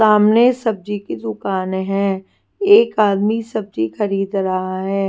सामने सब्जी की दुकान है। एक आदमी सब्जी खरीद रहा है।